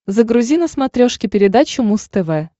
загрузи на смотрешке передачу муз тв